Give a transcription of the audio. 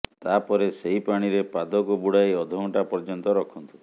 ତାପରେ ସେହି ପାଣିରେ ପାଦକୁ ବୁଡାଇ ଅଧ ଘଣ୍ଟା ପର୍ୟ୍ୟନ୍ତ ରଖନ୍ତୁ